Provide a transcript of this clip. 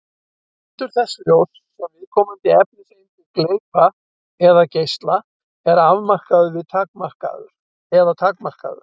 Litur þess ljóss sem viðkomandi efniseindir gleypa eða geisla er afmarkaður eða takmarkaður.